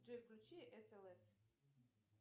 джой включи слс